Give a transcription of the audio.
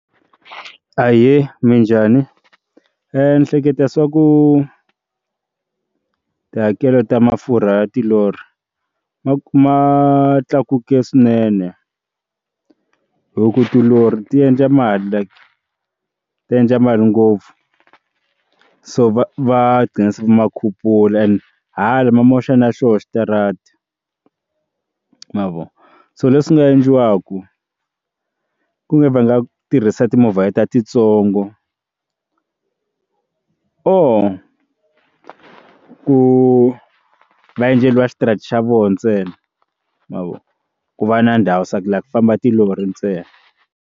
Ahee, minjhani? ndzi ehleketa swa ku tihakelo ta mafurha ya tilori ma ma tlakuke swinene hi ku tilori ti endla mali like tiendla mali ngopfu so va ghina va ma khupula and hala ma moxa na xoho xitarata ma vona so leswi nga endliwaki ku nga va nga tirhisa timovha ta titsongo or ku va endleriwa xitarata xa voho ntsena ma vona loko ku va na ndhawu swa ku laha ku famba tilori ntsena.